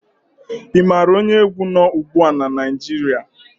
Ị maara onye egwu nọ́ ugbu a na Naịjirịa?